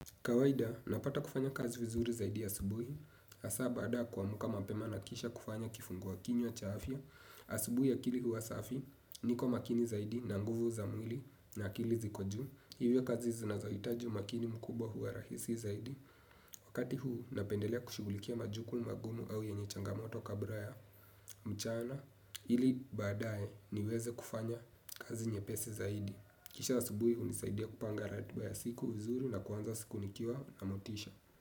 Kawaida, napata kufanya kazi vizuri zaidi a subuhi, hasa baada yakumka mapema na kisha kufanya kifungua kinywa chaafya, asubuhi a kili huwasafi, niko makini zaidi na nguvu za mwili na akili zikojuu, hivyo kazi zinazohitaji umakini mkubwa huwa rahisi zaidi, wakati huu napendelea kushughulikia majukumu magumu au yenye changamoto kabla ya mchana, ili baadaye niweze kufanya kazi nye pesi zaidi. Kisha a subuhi hunisaidia kupanga ratiba ya siku vizuri na kuanza siku nikiwa na motisha.